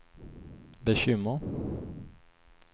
bekymmer